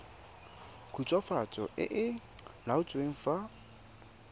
khutswafatso e e laotsweng fa